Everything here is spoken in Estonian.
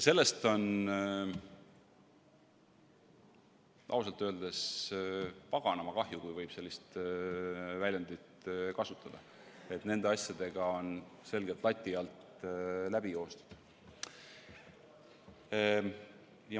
Sellest on ausalt öeldes paganama kahju, kui võib sellist väljendit kasutada, et nende asjadega on selgelt lati alt läbi joostud.